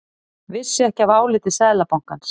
Vissi ekki af áliti Seðlabankans